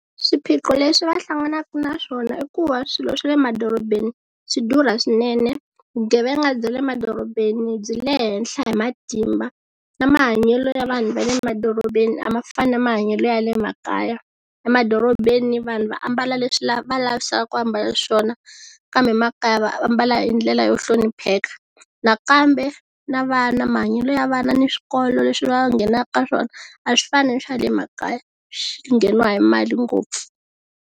Swiphiqo leswi va hlanganaka na swona i ku va swilo swa le madorobeni swi durha swinene, vugevenga bya le madorobeni byi le henhla hi matimba na mahanyelo ya vanhu va le madorobeni a ma fani na mahanyelo ya le makaya, emadorobeni vanhu va ambala leswi la va lavisaka ku ambala swona kambe makaya va ambala hi ndlela yo hlonipheka nakambe na vana mahanyelo ya vana ni swikolo leswi va nghenaka swona a swi fani na swa le makaya swi ngheniwa hi mali ngopfu.